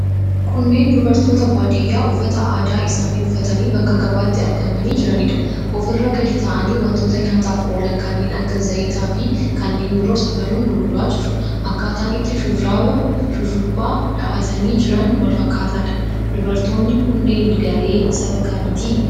Kunneen dubartoota baadiyyaa uffata aadaa isaanii uffatanii bakka gabaatti argamanii jiraniidha. Ofirra gadi taa'anii wantoota nyaataaf oolan kanneen akka zayitiifi kanneen biroo safaruun gurguraa jiru. Akkaataan itti shurrubbaa dhahatanii jiran wal fakkaataadha. Dubartoonni kunneen garee saba kamiiti?